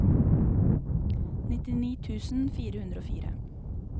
nittini tusen fire hundre og fire